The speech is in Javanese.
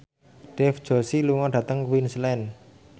Dev Joshi lunga dhateng Queensland